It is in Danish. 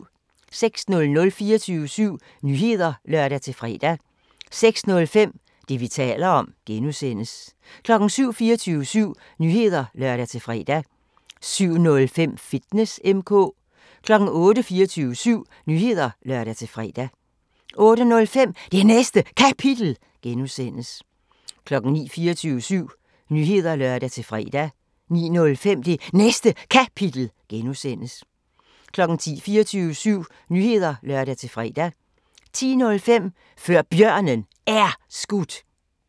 06:00: 24syv Nyheder (lør-fre) 06:05: Det, vi taler om (G) 07:00: 24syv Nyheder (lør-fre) 07:05: Fitness M/K 08:00: 24syv Nyheder (lør-fre) 08:05: Det Næste Kapitel (G) 09:00: 24syv Nyheder (lør-fre) 09:05: Det Næste Kapitel (G) 10:00: 24syv Nyheder (lør-fre) 10:05: Før Bjørnen Er Skudt